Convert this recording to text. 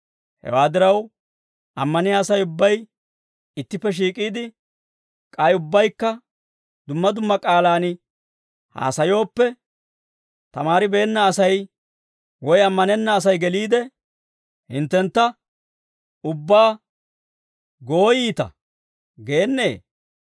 Hewaa diraw, ammaniyaa Asay ubbay ittippe shiik'iide, k'ay ubbaykka dumma dumma k'aalaan haasayooppe, tamaaribeenna Asay woy ammanenna Asay geliide, hinttentta ubbaa, «Gooyiita» geennee?